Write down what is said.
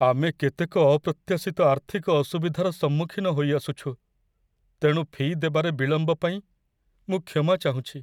ଆମେ କେତେକ ଅପ୍ରତ୍ୟାଶିତ ଆର୍ଥିକ ଅସୁବିଧାର ସମ୍ମୁଖୀନ ହୋଇଆସୁଛୁ, ତେଣୁ ଫି' ଦେବାରେ ବିଳମ୍ବ ପାଇଁ ମୁଁ କ୍ଷମା ଚାହୁଁଛି।